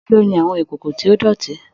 Mélòó ní àwọn ìkókó to dọ̀tí?